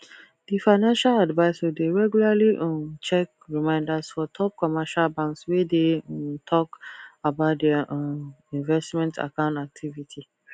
the financial advisor de regularly um check reminders for top commercial banks wey de um talk about their um investments account activity